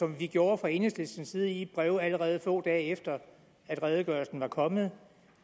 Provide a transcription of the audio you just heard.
vi gjorde fra enhedslistens side i et brev allerede få dage efter at redegørelsen var kommet